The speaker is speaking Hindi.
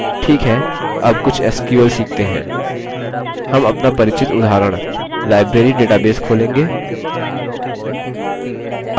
ठीक है अब कुछ sql सीखते हैं हम अपना परिचित उदाहरण library database खोलेंगे